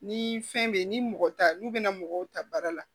Ni fɛn bɛ ye ni mɔgɔ t'a n'u bɛna mɔgɔw ta baara la